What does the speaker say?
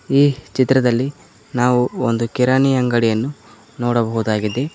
ಈ ಚಿತ್ರದಲ್ಲಿ ನಾವು ಒಂದು ಕಿರಾಣಿ ಅಂಗಡಿಯನ್ನು ನೋಡಬಹುದಾಗಿದೆ.